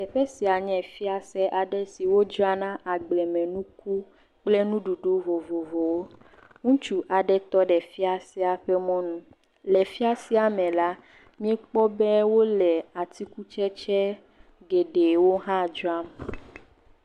Teƒe sia nye fiase aɖe si wodzrana agblemenuku kple nuɖuɖu vovovowo, ŋutsu aɖe tɔɖe fiasea ƒe mɔnu. Le fiasea me la, mikpɔ be wole atikutsetse geɖewo hã dzram.